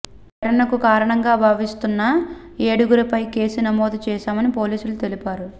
ఈ ఘటనకు కారణంగా భావిస్తున్న ఏడుగురిపై కేసు నమోదు చేశామని పోలీసులు తెలిపారు